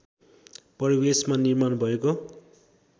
परिवेशमा निर्माण भएको